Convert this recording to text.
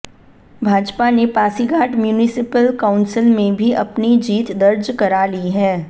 भाजपा ने Pasighat municipal council में भी अपनी जीत दर्ज करा ली है